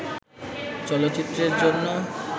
চলচ্চিত্রের জন্য